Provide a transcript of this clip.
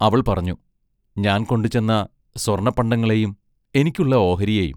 അവൾ പറഞ്ഞു: ഞാൻ കൊണ്ടുചെന്ന സ്വർണപ്പണ്ടങ്ങളെയും എനിക്കുള്ള ഓഹരിയെയും.